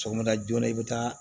Sɔgɔmada joona i bɛ taa